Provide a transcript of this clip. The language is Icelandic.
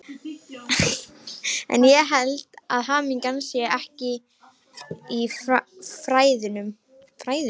En ég held að hamingjan sé ekki í fræðunum.